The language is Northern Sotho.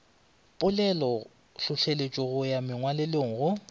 polelotlhohleletšo go ya mongwalelo go